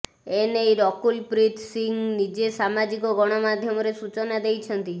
ଏ ନେଇ ରକୁଲ ପ୍ରୀତ୍ ସିଂହ ନିଜେ ସାମାଜିକ ଗଣମାଧ୍ୟମରେ ସୂଚନା ଦେଇଛନ୍ତି